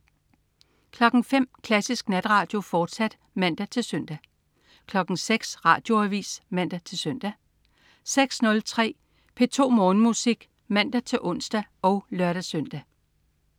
05.00 Klassisk Natradio, fortsat (man-søn) 06.00 Radioavis (man-søn) 06.03 P2 Morgenmusik (man-ons og lør-søn)